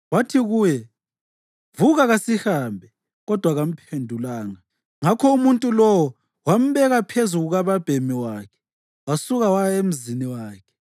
Wathi kuye, “Vuka; kasihambe.” Kodwa kamphendulanga. Ngakho umuntu lowo wambeka phezu kukababhemi wakhe wasuka waya emzini wakhe.